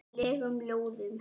legum ljóðum.